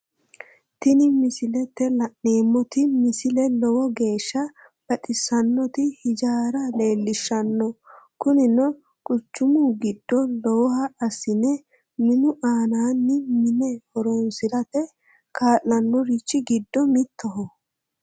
Tini misilete la'neemmoti misile lowo geeshsha baxissannoti hijaara leellishshanno kunino quchumu giddo lowoha assine minu aananni minne horoonsirate kaa'lannorichi giddo mittoho